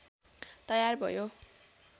तयार भयो